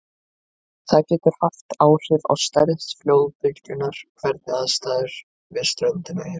Það getur svo haft áhrif á stærð flóðbylgjunnar hvernig aðstæður við ströndina eru.